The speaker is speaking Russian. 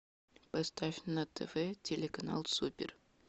поставь на тв телеканал супер